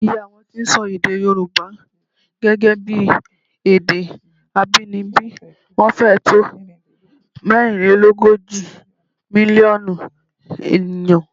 Iye àwọn tí ń sọ èdè Yorùbá gẹ́gẹ́ bí èdè abínibí wọn fẹ́ẹ̀ tó mẹ́rinlélógójì mílíọ̀nù ènìyàn